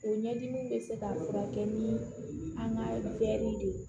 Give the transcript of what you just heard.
O ɲɛdimi bɛ se ka furakɛ ni an ka de ye